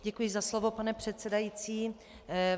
Děkuji za slovo, pane předsedající.